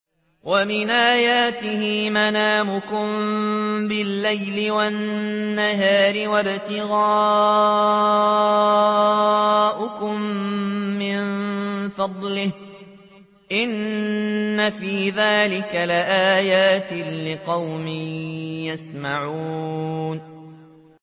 وَمِنْ آيَاتِهِ مَنَامُكُم بِاللَّيْلِ وَالنَّهَارِ وَابْتِغَاؤُكُم مِّن فَضْلِهِ ۚ إِنَّ فِي ذَٰلِكَ لَآيَاتٍ لِّقَوْمٍ يَسْمَعُونَ